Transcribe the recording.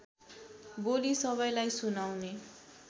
बोली सबैलाई सुनाउने